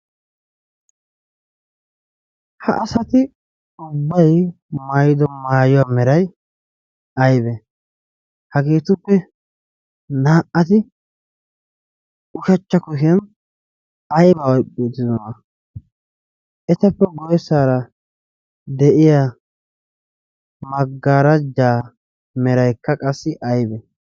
ha asati ubbay mayido maayuwaa meray aybe hageetuppe naa''ati ushachcha kuhiyan aybba iqpietidana etappe garssaara de'iya maggaaraja merayika qassi aybe